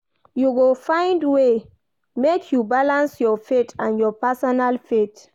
You go find way make you balance your faith and your personal faith.